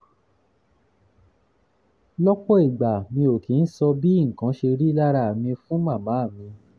lọ́pọ̀ ìgbà mi ò kì í sọ bí nǹkan ṣe rí lára mi fún màmá mi